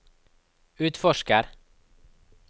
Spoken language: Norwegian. utforsker